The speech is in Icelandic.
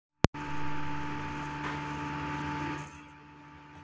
Elín: Talandi um tóninn, fáum við ekki smá dæmi?